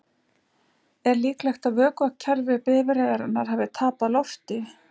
Er líklegt að vökvakerfi bifreiðarinnar hafi tapað lofti?